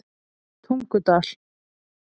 Tungudal